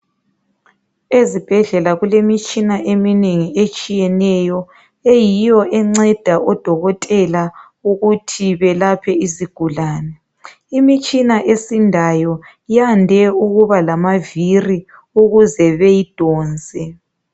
Ezibhedlela kulemitshina eminengi etshiyeneyo. Eyiyo enceda odokotela ukuthi belaphe izigulane. Imitshina esindayo, yande ukuba lamaviri ukuze beyidonse.